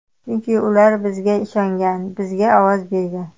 Chunki ular bizga ishongan, bizga ovoz bergan.